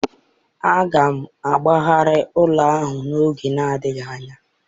Aga m agbagharị ụlọ ahụ n'oge adịghị anya